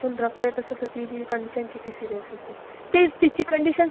in case तिचे आई वडील घरी नसतात , जर हे तिच्या घरीच झालं असतं